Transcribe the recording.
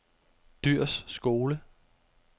Dyhrs Skole